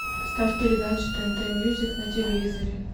поставь передачу тнт мьюзик на телевизоре